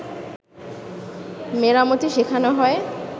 মেরামতি শেখানো হয়